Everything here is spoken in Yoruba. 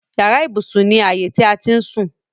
Yàrá ibùsùn ni ààyè ti a ti ń sùn.